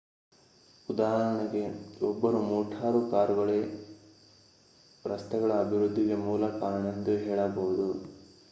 ಉದಾಹರಣೆಗೆ ಒಬ್ಬರು ಮೋಟಾರು ಕಾರುಗಳೇ ರಸ್ತೆಗಳ ಅಭಿವೃದ್ಧಿಗೆ ಮೂಲ ಕಾರಣ ಎಂದು ಹೇಳಬಹುದು